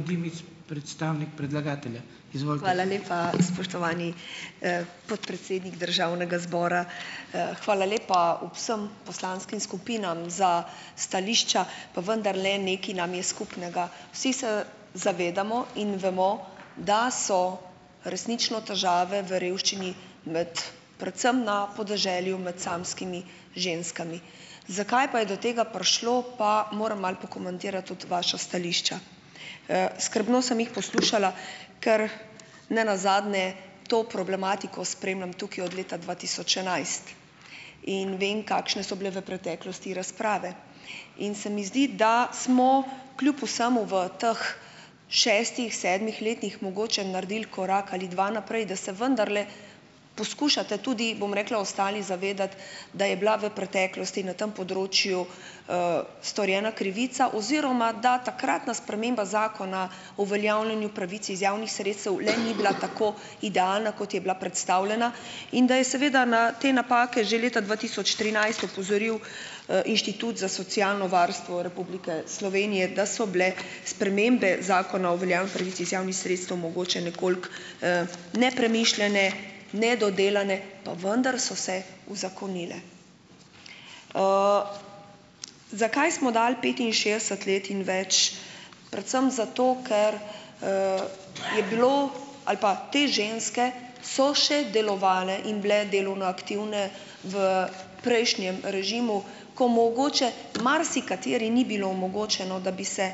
Hvala lepa, spoštovani podpredsednik državnega zbora. Hvala lepa vsem poslanskim skupinam za stališča, pa vendarle nekaj nam je skupnega. Vsi se zavedamo in vemo, da so resnično težave v revščini med predvsem na podeželju med samskimi ženskami. Zakaj pa je do tega prišlo, pa moram malo pokomentirati tudi vaša stališča. Skrbno sem jih poslušala, ker nenazadnje to problematiko spremljam tukaj od leta dva tisoč enajst in vem, kakšne so bile v preteklosti razprave in se mi zdi, da smo kljub vsemu v teh šestih, sedmih letih mogoče naredili korak ali dva naprej, da se vendarle poskušate tudi, bom rekla, ostali zavedati, da je bila v preteklosti na tem področju storjena krivica oziroma da takratna sprememba Zakona o uveljavljanju pravic iz javnih sredstev le ni bila tako idealna, kot je bila predstavljena, in da je seveda na te napake že leta dva tisoč trinajst opozoril Inštitut za socialno varstvo Republike Slovenije, da so bile spremembe Zakona o uveljavljanju pravic iz javnih sredstev mogoče nekoliko nepremišljene, nedodelane, pa vendar so se uzakonile. Zakaj smo dali petinšestdeset let in več? Predvsem zato, ker je bilo ali pa te ženske so še delovale in bile delovno aktivne v prejšnjem režimu, ko mogoče marsikateri ni bilo omogočeno, da bi se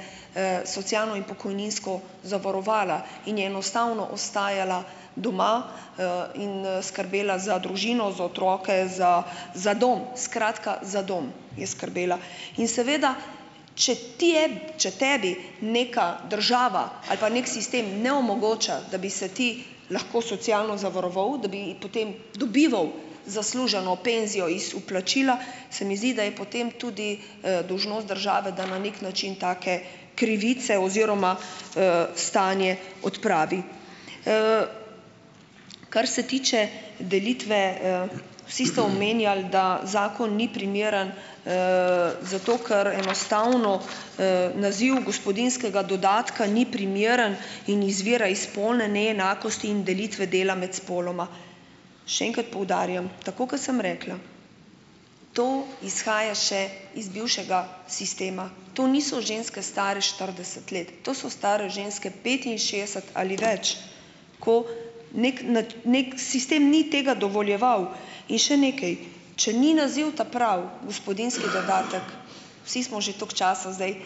socialno in pokojninsko zavarovala in je enostavno ostajala doma in skrbela za družino, za otroke, za za dom, skratka, za dom je skrbela. In seveda, če ti je, če tebi neka država ali pa nek sistem ne omogoča, da bi se ti lahko socialno zavaroval, da bi potem dobival zasluženo penzijo iz vplačila, se mi zdi, da je potem tudi dolžnost države, da na nek način take krivice oziroma stanje odpravi. Kar se tiče delitve Vsi ste omenjali, da zakon ni primeren zato, ker enostavno naziv gospodinjskega dodatka ni primeren in izvira iz spolne neenakosti in delitve dela imeti spoloma. Še enkrat poudarjam, tako kot sem rekla, to izhaja še iz bivšega sistema. To niso ženske, stare štirideset let, to so stare ženske petinšestdeset ali več, ko nekaj n nek sistem ni tega dovoljeval. In še nekaj, če ni naziv ta pravi, gospodinjski dodatek, vsi smo že toliko časa zdaj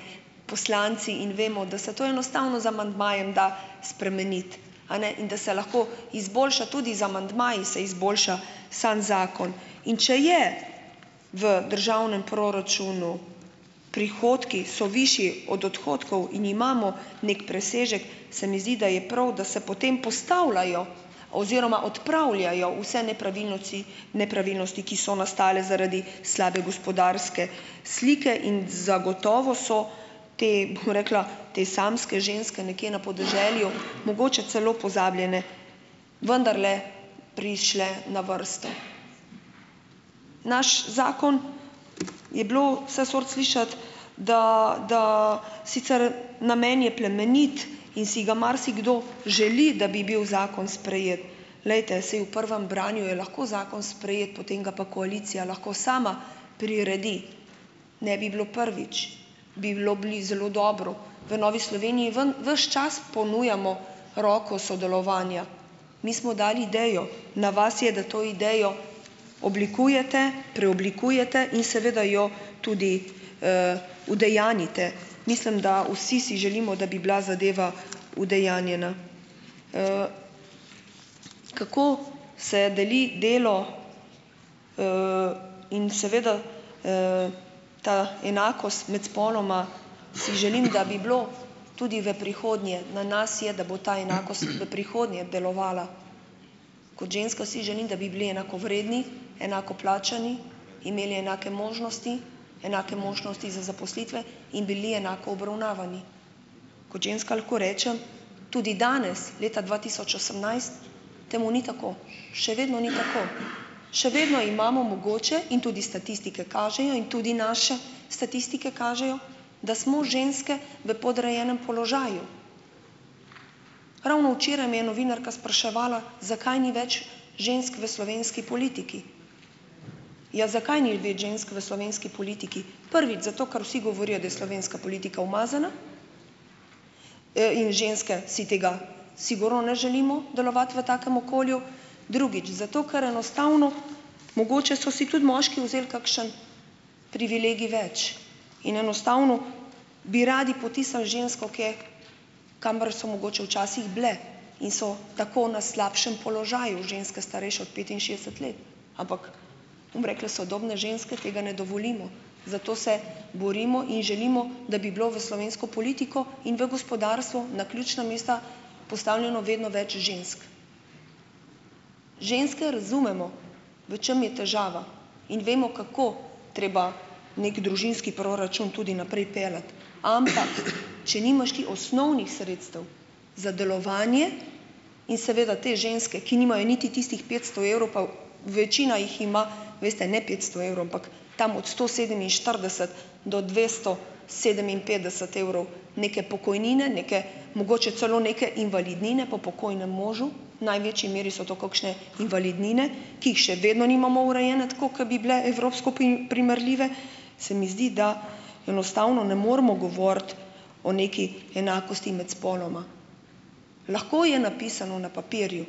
poslanci in vemo, da se to enostavno z amandmajem da spremeniti, a ne? In da se lahko izboljša tudi z amandmaji, se izboljša. Samo zakon. In če je, v državnem proračunu prihodki so višji od odhodkov in imamo nek presežek, se mi zdi, da je prav, da se potem postavljajo oziroma odpravljajo vse nepravilnosti, nepravilnosti, ki so nastale zaradi slabe gospodarske slike, in zagotovo so te, bom rekla, te samske ženske nekje na podeželju, mogoče celo pozabljene, vendarle prišle na vrsto. Naš zakon Je bilo vse sorte slišati, da, da sicer namen je plemenit in si ga marsikdo želi, da bi bil zakon sprejet. Glejte, saj v prvem branju je lahko zakon sprejet, potem ga pa koalicija lahko sama priredi, ne bi bilo prvič. Bi bilo bili zelo dobro. V Novi Sloveniji ven ves čas ponujamo roko sodelovanja. Mi smo dali idejo, na vas je, da to idejo oblikujete, preoblikujete in seveda jo tudi udejanjite. Mislim, da vsi si želimo, da bi bila zadeva udejanjena. Kako se deli delo in seveda ta enakost imeti spoloma. Si želim, da bi bilo tudi v prihodnje, na nas je, da bo ta enakost v prihodnje delovala. Kot ženska si želim, da bi bili enakovredni, enako plačani, imeli enake možnosti, enake možnosti za zaposlitve in bili enako obravnavani. Kot ženska lahko rečem, tudi danes, leta dva tisoč osemnajst, temu ni tako, še vedno ni tako. Še vedno imamo mogoče in tudi statistike kažejo in tudi naše statistike kažejo, da smo ženske v podrejenem položaju. Ravno včeraj me je novinarska spraševala, zakaj ni več žensk v slovenski politiki. Ja, zakaj ni več žensk v slovenski politiki? Prvič zato, ker vsi govorijo, da je slovenska politika umazana, in ženske si tega sigurno ne želimo, delovati v takem okolju, drugič zato, ker enostavno mogoče so si tudi moški vzeli kakšen privilegij več in enostavno bi radi potisnili žensko kje, kamor so mogoče včasih bile, in so tako na slabšem položaju ženske, starejše od petinšestdeset let, ampak ... Bom rekla, sodobne ženske tega ne dovolimo, zato se borimo in želimo, da bi bilo v slovensko politiko in v gospodarstvo na ključna mesta postavljeno vedno več žensk. Ženske razumemo, v čem je težava. In vemo, kako treba nek družinski proračun tudi naprej peljati, ampak če nimaš ti osnovnih sredstev za delovanje. In seveda te ženske, ki nimajo niti tistih petsto evrov, pa večina jih ima, veste, ne petsto evrov, ampak tam od sto sedeminštirideset do dvesto sedeminpetdeset evrov neke pokojnine, neke mogoče celo neke invalidnine po pokojnem možu, v največji meri so to kakšne invalidnine, ki jih še vedno nimamo urejene tako, ke bi bile evropsko pri primerljive, se mi zdi, da enostavno ne moremo govoriti o neki enakosti med spoloma. Lahko je napisano na papirju,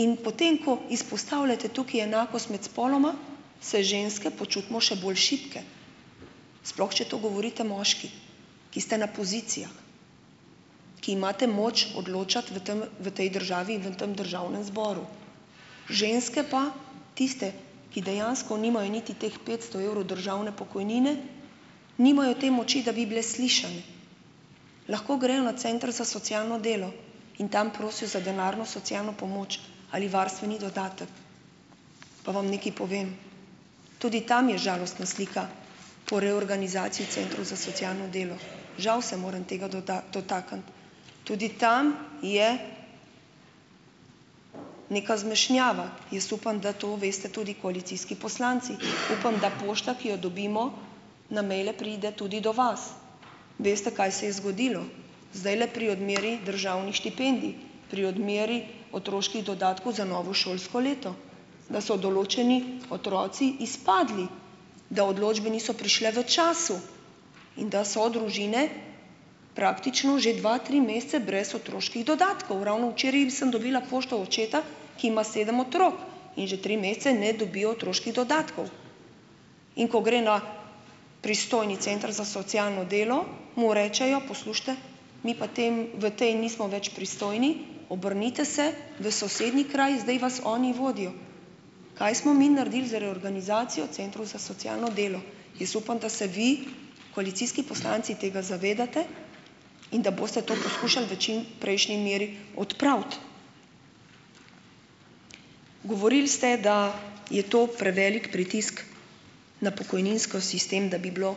in potem ko izpostavljate tukaj enakost med spoloma, se ženske počutimo še bolj šibke, sploh če to govorite moški, ki ste na pozicijah, ki imate moč odločati v tem, v tej državi, v tam državnem zboru. Ženske pa, tiste, ki dejansko nimajo niti teh petsto evrov državne pokojnine, nimajo te moči, da bi bile slišane. Lahko grejo na center za socialno delo in tam prosijo za denarno socialno pomoč ali varstveni dodatek, pa vam nekaj povem, tudi tam je žalostna slika po reorganizaciji centrov za socialno delo. Žal se moram tega doda, dotakniti. Tudi tam je neka zmešnjava. Jaz upam, da to veste tudi koalicijski poslanci. Upam, da pošta, ki jo dobimo na mejle, pride tudi do vas. Veste, kaj se je zgodilo. Zdajle pri odmeri državnih štipendij, pri odmeri otroških dodatkov za novo šolsko leto, da so določeni otroci izpadli, da odločbe niso prišle v času in da so družine praktično že dva, tri mesece brez otroških dodatkov. Ravno včeraj sem dobila pošto očeta, ki ima sedem otrok in že tri mesece ne dobijo otroških dodatkov. In ko gre na pristojni center za socialno delo, mu rečejo, poslušajte, mi pa tem, v tej nismo več pristojni, obrnite se v sosednji kraj, zdaj vas oni vodijo. Kaj smo mi naredili z reorganizacijo centrov za socialno delo? Jaz upam, da se vi, koalicijski poslanci, tega zavedate, in da boste to poskušali v čim prejšnji meri odpraviti. Govorili ste, da je to prevelik pritisk na pokojninski sistem, da bi bilo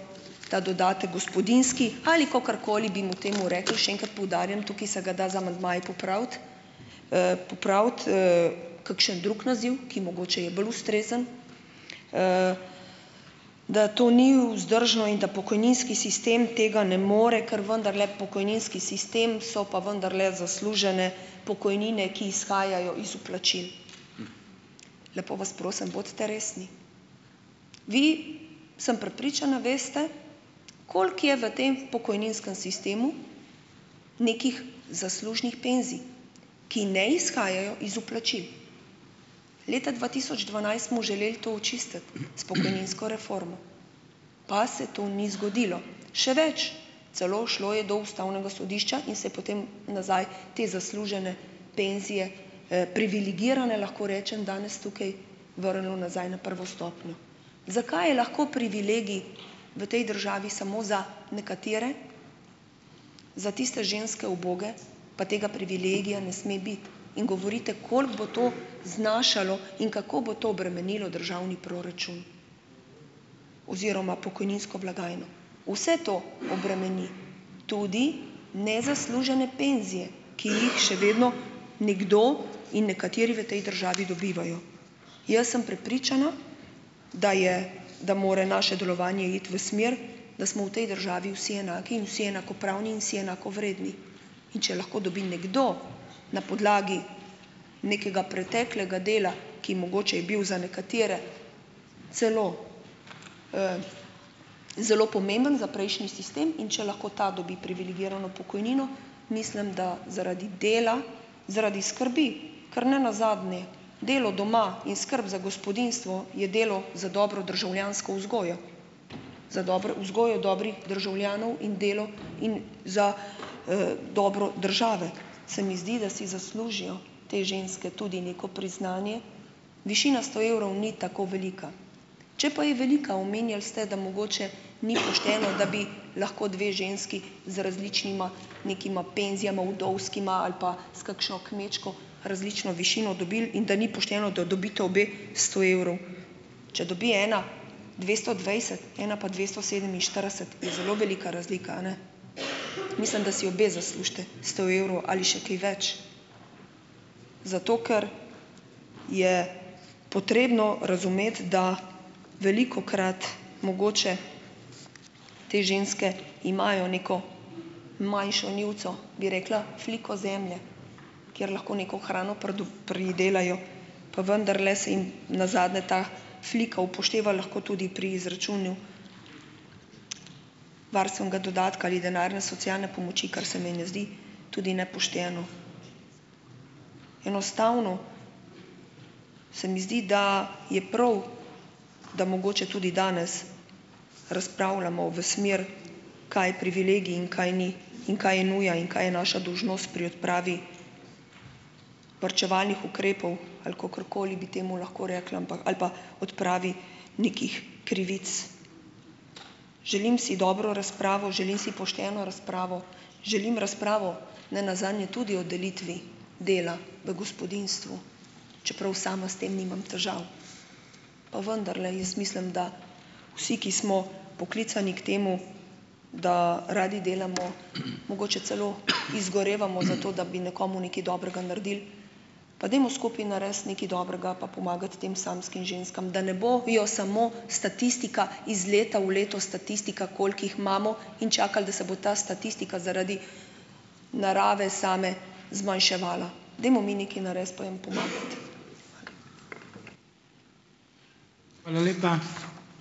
ta dodatek, gospodinjski, ali kakorkoli bi mu temu rekli, še enkrat poudarjam, tukaj se ga da z amandmaji popraviti, popraviti, kakšen drug naziv, ki mogoče je bolj ustrezen, da to ni vzdržno in da pokojninski sistem tega ne more, ker vendarle pokojninski sistem so pa vendarle zaslužene pokojnine, ki izhajajo iz vplačil. Lepo vas prosim, bodite resni. Vi, sem prepričana, veste, koliko je v tem pokojninskem sistemu nekih zaslužnih penzij, ki ne izhajajo iz vplačil. Leta dva tisoč dvanajst smo želeli to očistiti s pokojninsko reformo, pa saj to ni zgodilo. Še več, celo ušlo je do Ustavnega sodišča in se je potem nazaj te zaslužene penzije privilegirane, lahko rečem danes tukaj, vrnilo nazaj na prvo stopnjo. Zakaj je lahko privilegij v tej državi samo za nekatere, za tiste ženske, uboge, pa tega privilegija ne sme biti, in govorite, koliko bo to znašalo in kako bo to bremenilo državni proračun oziroma pokojninsko blagajno. Vse to obremeni tudi nezaslužene penzije, ki jih še vedno nekdo in nekateri v tej državi dobivajo. Jaz sem prepričana, da je, da mora naše delovanje iti v smer, da smo v tej državi vsi enaki in vsi enakopravni in vsi enakovredni. In če lahko dobi nekdo na podlagi nekega preteklega dela, ki mogoče je bil za nekatere celo zelo pomembno za prejšnji sistem, in če lahko ta dobi privilegirano pokojnino, mislim, da zaradi dela, zaradi skrbi, ker ne nazadnje delo doma in skrb za gospodinjstvo je delo za dobro državljansko vzgojo, za dobro vzgojo dobrih državljanov in delo in za dobro države. Se mi zdi, da si zaslužijo te ženske tudi neko priznanje. Višina sto evrov ni tako velika, če pa je velika, omenjali ste, da mogoče ni pošteno, da bi lahko dve ženski z različnima nekima penzijama, vdovskima ali pa s kakšno kmečko, različno višino dobili, in da ni pošteno, da dobita obe sto evrov. Če dobi ena dvesto dvajset, ena pa dvesto sedeminštirideset, je zelo velika razlika, a ne? Mislim, da si obe zaslužita sto evrov ali še kaj več, zato ker je potrebno razumeti, da velikokrat mogoče te ženske imajo neko manjšo njivico, bi rekla, fliko zemlje, kjer lahko neko hrano pridelajo, pa vendarle se jim nazadnje ta flika upošteva lahko tudi pri izračunu varstvenega dodatka ali denarne socialne pomoči, kar se mi ne zdi tudi nepošteno. Enostavno se mi zdi, da je prav, da mogoče tudi danes razpravljamo v smer, kaj je privilegij in kaj ni in kaj je nuja in kaj je naša dolžnost pri odpravi varčevalnih ukrepov ali kakorkoli bi temu lahko rekla ampak, ali pa odpravi nekih krivic. Želim si dobro razpravo, želim si pošteno razpravo, želim razpravo, ne nazadnje tudi o delitvi dela v gospodinjstvu, čeprav sama s tem nimam težav. Pa vendarle jaz mislim, da vsi, ki smo poklicani k temu, da radi delamo, mogoče celo izgorevamo za to, da bi nekomu nekaj dobrega naredili. Pa dajmo skupaj narediti nekaj dobrega pa pomagati tem samskim ženskam, da ne bojo samo statistika iz leta v leto, statistika, koliko jih imamo in čakali, da se bo ta statistika zaradi narave same zmanjševala. Dajmo mi nekaj narediti pa jim pomagati. Hvala.